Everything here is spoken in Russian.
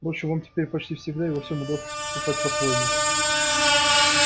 впрочем вам теперь почти всегда и во всем удаётся поступать по-своему